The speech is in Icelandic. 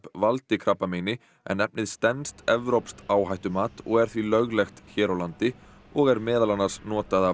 valdi krabbameini en efnið stenst evrópskt áhættumat og er því löglegt hér á landi og er meðal annars notað af